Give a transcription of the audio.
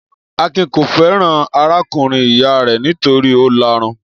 Akin kò fẹ́ràn arákùnrin-ìyá rẹ̀ nítorí ó lárun.